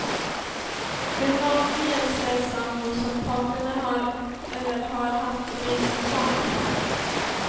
Med make jämställs sambo om parterna har eller har haft gemensamma barn.